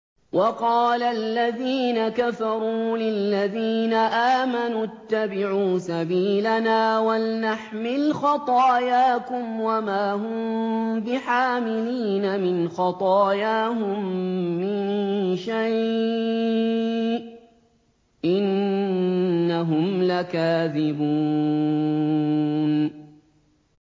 وَقَالَ الَّذِينَ كَفَرُوا لِلَّذِينَ آمَنُوا اتَّبِعُوا سَبِيلَنَا وَلْنَحْمِلْ خَطَايَاكُمْ وَمَا هُم بِحَامِلِينَ مِنْ خَطَايَاهُم مِّن شَيْءٍ ۖ إِنَّهُمْ لَكَاذِبُونَ